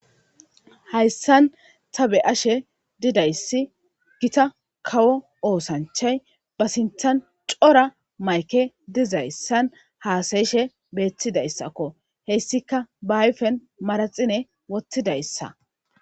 Hayssan ta be ashe didayssi gita kawo oosanchay ba sinthan cora mayke dizayssan haasayishe beettidayssakko heyssika baayfen maraxine wottidayssa.